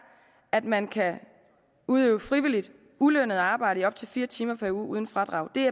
at man kan udøve frivilligt ulønnet arbejde i op til fire timer per uge uden fradrag det